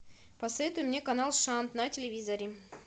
посоветуй мне канал шант на телевизоре